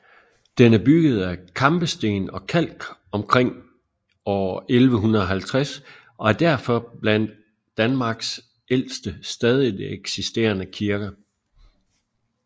Den er bygget af kampesten og kalk omkring år 1150 og er derfor blandt Danmarks ældste stadigt eksisterende kirker